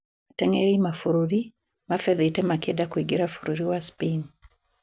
Atengeri mabũrũri mabethĩte makĩenda kũingira bũrũri wa Spain